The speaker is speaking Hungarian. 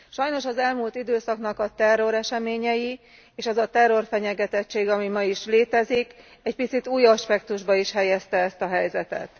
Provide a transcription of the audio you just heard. Sajnos az elmúlt időszaknak a terroreseményei, és ez a terrorfenyegetettség, ami ma is létezik egy picit új aspektusba is helyezte ezt a helyzetet.